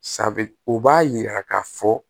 Sanfɛ u b'a yira k'a fɔ